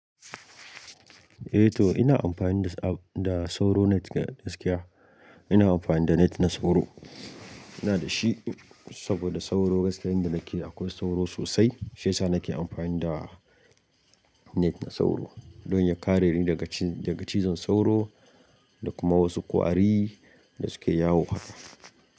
Eh to ina amfani da sauro net gaskiya. Ina amfani da net na sauro, ina da shi saboda sauro gaskiyar in da nake akwai sauro sosai shiyasa nake amfani da net na sauro don ya kare ni daga cizon sauro da kuma wasu ƙwari da suke yawo.